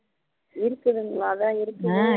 இருக்குதுங்களா அதான் இருக்குது